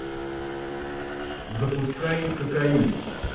запускай кокаин